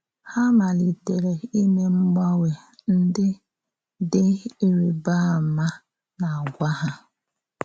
Ha malitere ime mgbanwe ndị dị ịrịbà àmà n’àgwà ha.